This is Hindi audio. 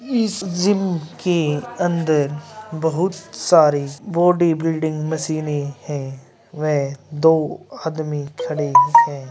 इस जिम के अंदर बहुत सारे बॉडी बिल्डिंग मशीन है वह दो आदमी खड़े हैं ।